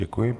Děkuji.